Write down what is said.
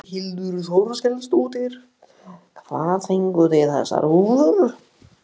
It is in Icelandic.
Þórhildur Þorkelsdóttir: Hvað fenguð þið þessar húfur?